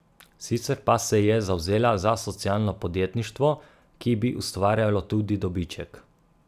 Sicer pa se je zavzela za socialno podjetništvo, ki bi ustvarjalo tudi dobiček.